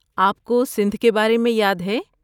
آپ کو سندھ کے بارے میں یاد ہے؟